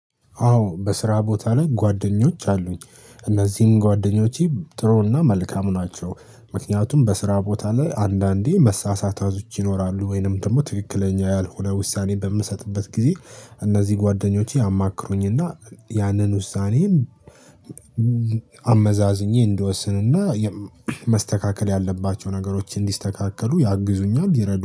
አዎ በስራ ቦታ ላይ ጓደኞች አሉኝ እነዚህም ጓደኞቼ ጥሩና መልካም ናቸው። ምክንያቱም በስራ ቦታ ላይ አንዳንዴ መሳሳቶች ወይንም ደግሞ ትክክለኛ ያልሆነ ውሳኔ በምሰጥበት ጊዜ እነዚህ ጓደኞቼ ያማክሩኝና ያንን ውሳኔም እንድወስንና መስተካከል ያለባቸው ነገሮችን እንዲስተካከሉ ያግዙኛል ይረዱ